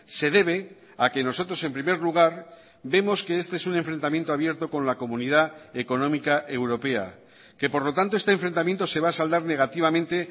se debe a que nosotros en primer lugar vemos que este es un enfrentamiento abierto con la comunidad económica europea que por lo tanto este enfrentamiento se va a saldar negativamente